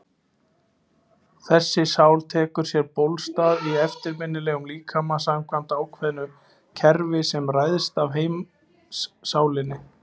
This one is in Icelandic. Þessi sál tekur sér bólstað í efnislegum líkama samkvæmt ákveðnu kerfi sem ræðst af heimssálinni.